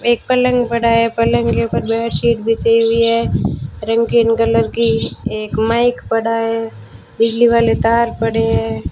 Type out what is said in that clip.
एक पलंग पड़ा है पलंग के उपर बेडशीट बिछी हुई है रंगीन कलर की एक माइक पड़ा है बिजली वाले तार पड़े हैं।